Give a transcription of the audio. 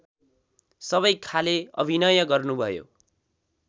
सबैखाले अभिनय गर्नुभयो